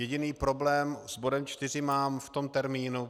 Jediný problém s bodem 4 mám v tom termínu.